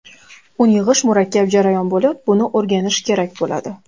Uni yig‘ish murakkab jarayon bo‘lib, buni o‘rganish kerak bo‘ladi.